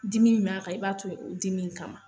Dimi min b'a kan, i b'a toyi ye, o dimi in kama